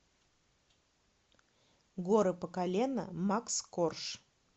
горы по колено макс корж